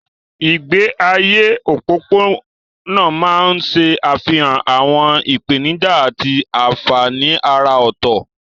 Ìgbé ayé òpópónà máa ń ṣe àfihàn àwọn ìpèníjà àti àfààní àrà ọ̀tọ̀.